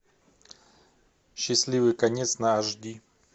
счастливый конец на аш ди